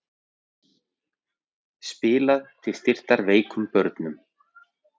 Spilað til styrktar veikum börnum